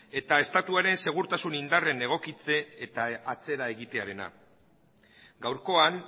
eta estatuaren segurtasun indarren egokitze eta atzera egitearena gaurkoan